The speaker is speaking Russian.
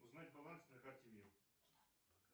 узнать баланс на карте мир